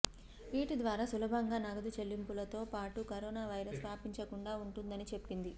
వీటి ద్వారా సులభంగా నగదు చెల్లింపులతో పాటు కరోనా వైరస్ వ్యాపించకుండా ఉంటుందని చెప్పింది